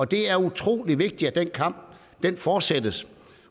det er utrolig vigtigt at den kamp fortsættes